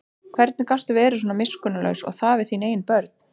Hvernig gastu verið svona miskunnarlaus og það við þín eigin börn?